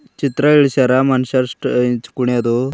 ಚಿತ್ರ ಇಳ್ಸ್ಯಾರ ಮನುಷ್ಯರ್ ಸ್ಟ ಇಂಚ್ ಕುಣಿಯೋದು.